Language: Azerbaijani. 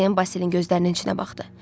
Dorian Basilinin gözlərinin içinə baxdı.